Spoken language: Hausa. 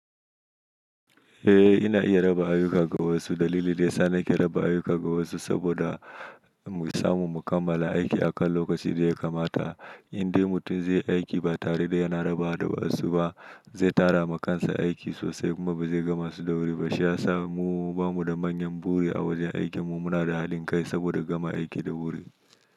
Eh ina iya raba ayuka ga wasu. Dalili da ya sa nake raba ayuka ga wasu saboda mu samu mu kammala aiki a kan lokacin da ya kamata. Indai mutum zai yi aiki ba tare da yana rabawa da wasu ba, zai tara ma kansa aiki sosai kuma ba zai gama su da wuri ba. Shiyasa mu ba mu da manyan buri a wajen aikin mu muna da hadin kai saboda gama aiki da wuri.